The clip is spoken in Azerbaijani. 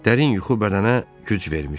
Dərin yuxu bədənə güc vermişdi.